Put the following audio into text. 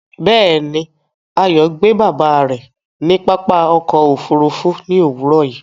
Bẹ́ẹ̀ni, Ayo gbe baba rẹ ni pápá ọkọ̀ òfurufú ni owurọ yìí